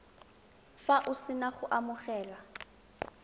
fa o sena go amogela